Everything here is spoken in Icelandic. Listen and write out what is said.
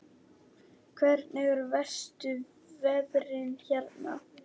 Hvernig eru verstu veðrin hérna?